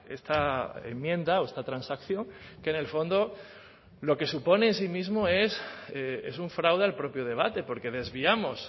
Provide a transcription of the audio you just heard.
esta enmienda o esta transacción que en el fondo lo que supone en sí mismo es un fraude al propio debate porque desviamos